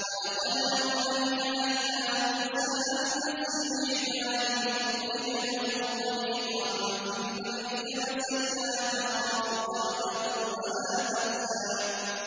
وَلَقَدْ أَوْحَيْنَا إِلَىٰ مُوسَىٰ أَنْ أَسْرِ بِعِبَادِي فَاضْرِبْ لَهُمْ طَرِيقًا فِي الْبَحْرِ يَبَسًا لَّا تَخَافُ دَرَكًا وَلَا تَخْشَىٰ